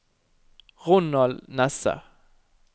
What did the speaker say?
Ronald Nesse